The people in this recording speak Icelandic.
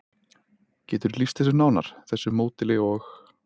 Geturðu lýst þessu nánar, þessu módeli og?